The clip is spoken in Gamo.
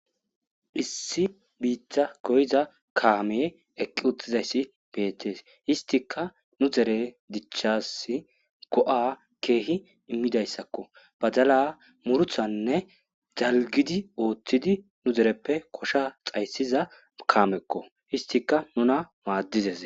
issi biitta goyiza kaameye eqqi uttizayssi beetees istika nu dere dichassi go7a keehi immidayssakko badala murthanne zalgidi ooththidi nu zereppe kosha xayssiza kaamekko histika nuna maaddizes